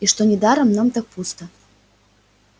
и что недаром нам так пусто